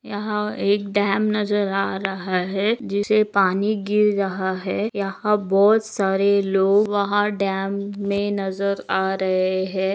यहाँ एक डैम नजर आ रहा है जिसे पानी गिर रहा है यहाँ बहुत सारे लोग वहा डैम मैं नजर आ रहे है।